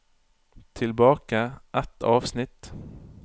Tilbake ett avsnitt